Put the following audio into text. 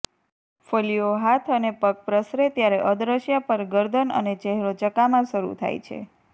ફોલ્લીઓ હાથ અને પગ પ્રસરે ત્યારે અદૃશ્ય પર ગરદન અને ચહેરો ચકામા શરૂ થાય છે